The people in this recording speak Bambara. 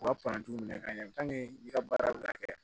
U ka minɛ ka ɲɛ i ka baara bɛ na kɛ